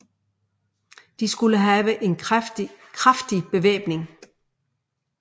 De skulle have en kraftig bevæbning